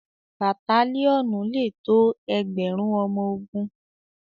batalionu lẹ tó ẹgbẹrun ọmọ ògún.